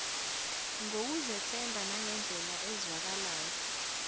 ngokuzethemba nangendlela ezwakalayo